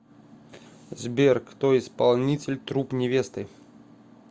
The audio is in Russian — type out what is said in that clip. сбер кто исполнитель труп невесты